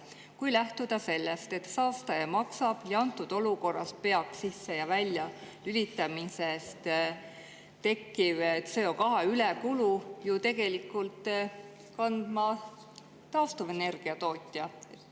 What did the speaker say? Kui lähtuda sellest, et saastaja maksab, siis antud olukorras peaks sisse‑ ja väljalülitamisest tekkiva CO2 lisakulu tegelikult kandma taastuvenergia tootja.